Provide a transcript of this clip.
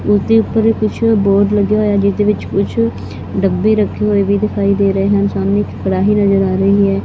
ਇਸ ਦੇ ਉੱਪਰ ਕੁਛ ਬੋਰਡ ਲੱਗੇ ਹੋਏ ਹਨ ਜਿਹਦੇ ਵਿੱਚ ਕੁਛ ਡੱਬੇ ਰੱਖੇ ਹੋਏ ਵੀ ਦਿਖਾਈ ਦੇ ਰਹੇ ਹਨ ਸਾਮ੍ਹਣੇ ਇੱਕ ਕੜਾਹੀ ਨਜ਼ਰ ਆ ਰਹੀ ਹੈ ਜੀ।